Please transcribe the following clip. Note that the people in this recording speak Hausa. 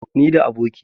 ni da abokina